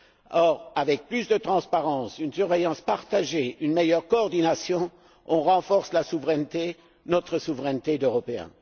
Or, avec plus de transparence, une surveillance partagée et une meilleure coordination, on renforce la souveraineté, notre souveraineté d'Européens.